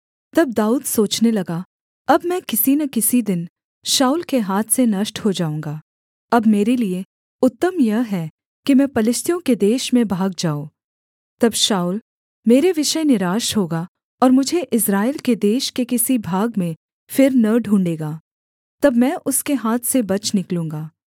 तब दाऊद सोचने लगा अब मैं किसी न किसी दिन शाऊल के हाथ से नष्ट हो जाऊँगा अब मेरे लिये उत्तम यह है कि मैं पलिश्तियों के देश में भाग जाऊँ तब शाऊल मेरे विषय निराश होगा और मुझे इस्राएल के देश के किसी भाग में फिर न ढूँढ़ेगा तब मैं उसके हाथ से बच निकलूँगा